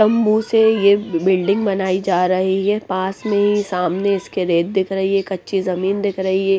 तम्बू से ये बिल्डिंग बनाई जा रही हैं पास में ही सामने इसके रेत दिख रही हैं कच्ची जमीन दिख रही हैं।